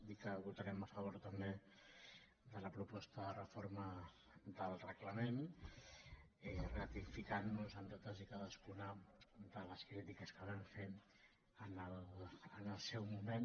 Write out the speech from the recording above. dir que votarem a favor també de la proposta de reforma del reglament ratificantnos en totes i cadascuna de les crítiques que vam fer en el seu moment